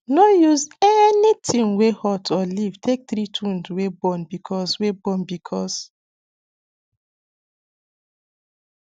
no use anything wey hot or leaf take treat wound wey burn casue wey burn casue